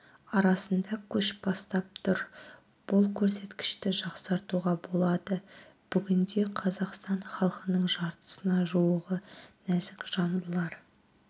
арасында көш бастап тұр бұл көрсеткішті жақсартуға болады бүгінде қазақстан халқының жартысына жуығы нәзік жандылар